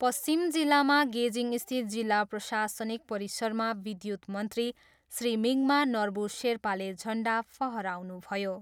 पश्चिम जिल्लामा गेजिङस्थित जिल्ला प्रशासनिक परिसरमा विद्युत मन्त्री श्री मिङमा नर्बू शेर्पाले झन्डा फहराउनुभयो।